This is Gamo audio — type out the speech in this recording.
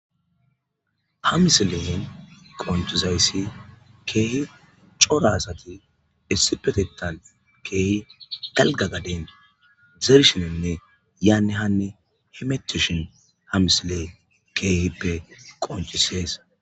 ha misilen qonccizayssi keehi cora asati issipetetan keehi dalgga gaden zerishinenne yaanne hanne hemetishin ha misile keehippe qonccisees.